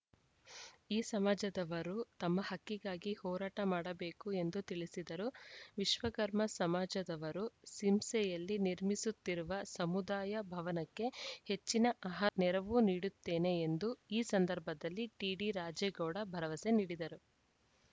ಈ ಸಮಾಜದವರು ತಮ್ಮ ಹಕ್ಕಿಗಾಗಿ ಹೋರಾಟ ಮಾಡಬೇಕು ಎಂದು ತಿಳಿಸಿದರು ವಿಶ್ವಕರ್ಮ ಸಮಾಜದವರು ಸಿಂಸೆಯಲ್ಲಿ ನಿರ್ಮಿಸುತ್ತಿರುವ ಸಮುದಾಯ ಭವನಕ್ಕೆ ಹೆಚ್ಚಿನ ನೆರವು ನೀಡುತ್ತೇನೆ ಎಂದು ಈ ಸಂದರ್ಭದಲ್ಲಿ ಟಿಡಿರಾಜೇಗೌಡ ಭರವಸೆ ನೀಡಿದರು